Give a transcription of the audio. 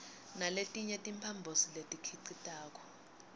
naletinye timphambosi letikhicitako